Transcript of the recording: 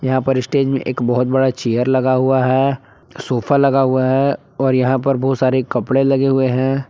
यहां पर स्टेज में एक बहोत बड़ा चेयर लगा हुआ है सोफा लगा हुआ है और यहां पर बहुत सारे कपड़े लगे हुए हैं।